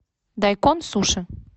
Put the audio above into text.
дайкон суши